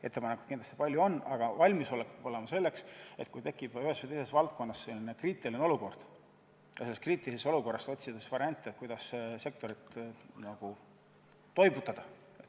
Ettepanekuid on kindlasti palju, aga valmisolek peab olema selleks, et kui ühes või teises valdkonnas tekib kriitiline olukord, siis selles olukorras saab otsida variante, kuidas sektorit nagu toibutada.